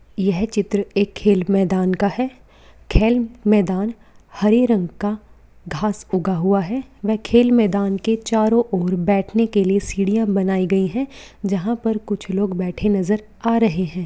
यह चित्र एक खेल मैदान का है खेल मैदान हरे रंग का घास उग हुआ है वह खेल मैदान के चारों और बैठने के लिए सीढ़ियां बनाई गई है जहा पर कुछ लोग बैठे नजर आ रहे है।